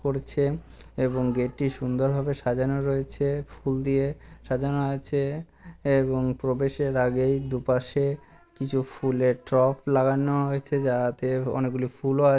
পড়ছে এবং গেট টি সুন্দরভাবে সাজানো রয়েছে। ফুল দিয়ে সাজানো আছে এবং প্রবেশের আগেই দুপাশে কিছু ফুলের টপ লাগানো হয়েছে যাহাতে অনেকগুলো ফুলও আ --